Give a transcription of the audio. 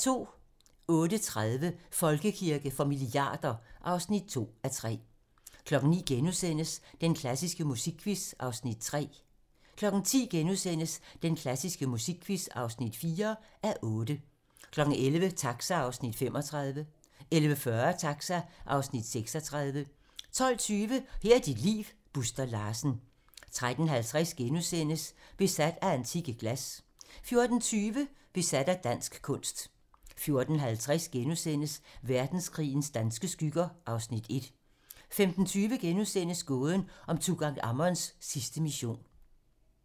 08:30: Folkekirke for milliarder (2:3) 09:00: Den klassiske musikquiz (3:8)* 10:00: Den klassiske musikquiz (4:8)* 11:00: Taxa (Afs. 35) 11:40: Taxa (Afs. 36) 12:20: Her er dit liv - Buster Larsen 13:50: Besat af antikke glas * 14:20: Besat af dansk kunst 14:50: Verdenskrigens danske skygger (Afs. 1)* 15:20: Gåden om Tutankhamons sidste mission *